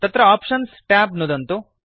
तत्र options tab नुदन्तु